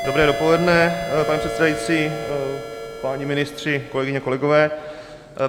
Dobré dopoledne, pane předsedající, páni ministři, kolegyně, kolegové.